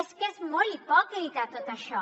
és que és molt hipòcrita tot això